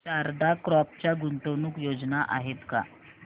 Sharda crop च्या गुंतवणूक योजना आहेत का